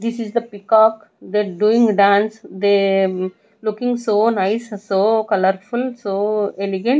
this is the peacock that doing dance they um they looking so nice so colourful so elegant.